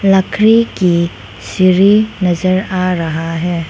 लकड़ी की सीढ़ी नजर आ रहा है।